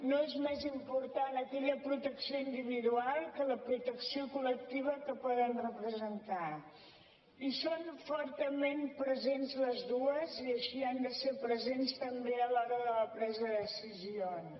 no és més important aquella protecció individual que la protecció col·lectiva que poden representar hi són fortament presents les dues i així han de ser presents també a l’hora de la presa de decisions